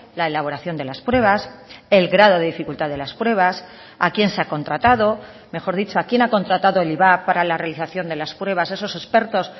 la elaboración de las pruebas el grado de dificultad de las pruebas a quién se ha contratado mejor dicho a quién ha contratado el ivap para la realización de las pruebas esos expertos